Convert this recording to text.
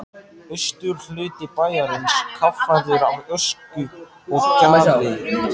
Austurhluti bæjarins kaffærður af ösku og gjalli.